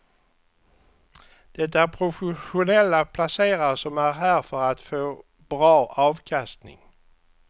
Det är professionella placerare som är här för att få bra avkastning.